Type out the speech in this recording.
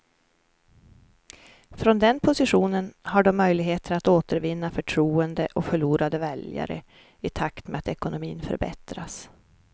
Från den positionen har de möjligheter att återvinna förtroende och förlorade väljare i takt med att ekonomin förbättras.